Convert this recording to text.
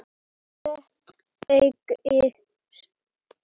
Þitt eigið sinnep!